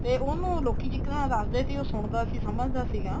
ਤੇ ਉਹਨੂੰ ਲੋਕੀ ਇੱਕ ਨਾ ਦੱਸਦੇ ਸੀ ਉਹ ਸੁਣਦਾ ਸੀ ਸਮਝਦਾ ਸੀਗਾ